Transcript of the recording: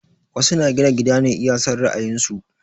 Wasu na gina gida ne iya son ra'ayin su